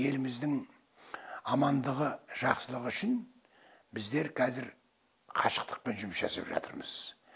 еліміздің амандығы жақсылығы үшін біздер қазір қашықтықпен жұмыс жасап жатырмыз